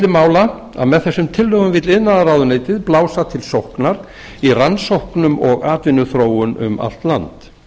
mála að með þessum tillögum vill iðnaðarráðuneytið blása til sóknar í rannsóknum og atvinnuþróun um allt land